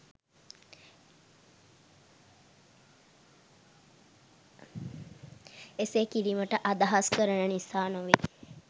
එසේ කිරීමට අදහස් කරන නිසා නොවේ.